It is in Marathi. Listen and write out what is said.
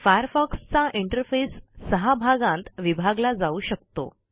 फायरफॉक्स चा इंटरफेस सहा भागांत विभागला जाऊ शकतो